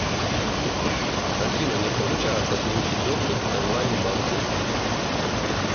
афина не получается получить доступ к онлайн банку